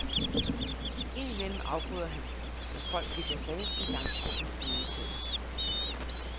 Ind imellem afbryder han, når folk vikler sig ind i langtrukne enetaler.